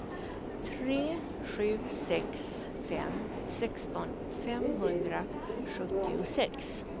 tre sju sex fem sexton femhundrasjuttiosex